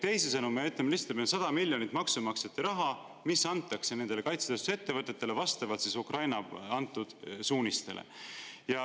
Teisisõnu, me ütleme lihtsalt, et meil on 100 miljonit eurot maksumaksjate raha, mis antakse kaitsetööstusettevõtetele vastavalt Ukraina antud suunistele.